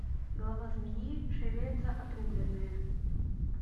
голова змеи шевелится отрубленная